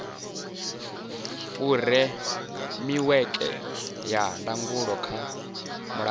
furemiweke ya ndangulo kha mulayo